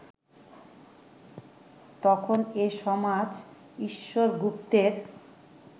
তখন এ সমাজ ঈশ্বর গুপ্তের